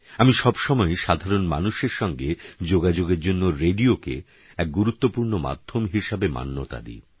আমি সবসময়ই সাধারণ মানুষের সঙ্গে যোগাযোগের জন্য রেডিওকে এক গুরুত্বপূর্ণ মাধ্যম হিসেবে মান্যতা দিই